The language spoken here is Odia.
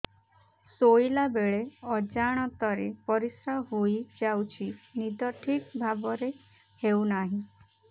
ଶୋଇଲା ବେଳେ ଅଜାଣତରେ ପରିସ୍ରା ହୋଇଯାଉଛି ନିଦ ଠିକ ଭାବରେ ହେଉ ନାହିଁ